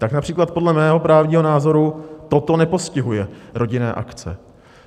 Tak například podle mého právního názoru toto nepostihuje rodinné akce.